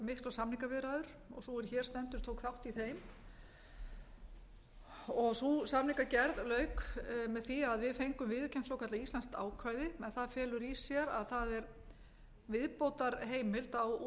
samningaviðræður og sú er hér stendur tók þátt í þeim þeirri samningagerð lauk með því að við fengum viðurkennt svokallað íslenskt ákvæði en það felur í sér að það er viðbótarheimild á